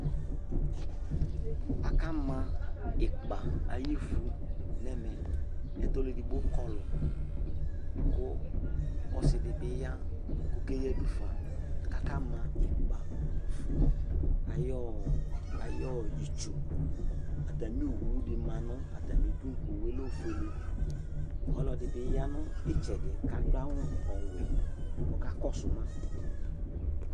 Akama ikpa ayɔ ívu nʋ ɛmɛ kʋ ɔlʋɛdigbo kɔlu kʋ ɔsidi bi ya kʋ ɔke yadufa kʋ akama ikpa ayʋ itsu Atami owu di ma nʋ atami ʋdu owu ye lɛ ɔfʋele Ɔlɔdi bi ya nʋ itsɛdi kʋ adu awu ɔwɛ kʋ ɔkakɔsu ma